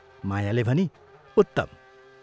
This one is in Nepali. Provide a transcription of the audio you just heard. मायाले भनी, "उत्तम!